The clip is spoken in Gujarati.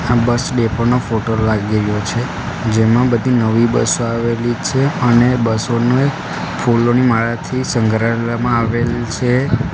આ બસ ડેપો નો ફોટો લાગી રયો છે જેમાં બધી નવી બસો આવેલી છે અને બસો ને ફૂલોની માળાથી સઁગ્રાડવામાં આવેલ છે.